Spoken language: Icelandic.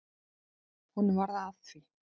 Honum varð að því.